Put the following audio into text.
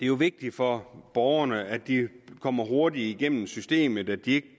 jo vigtigt for borgerne at de kommer hurtigt igennem systemet at de ikke